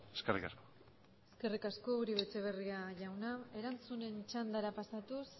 eskerrik asko eskerrik asko uribe etxebarria jauna erantzunen txandara pasatuz